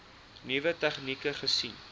nuwe tegnieke gesien